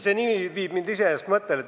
See nimi viib mind iseenesest ühele mõttele.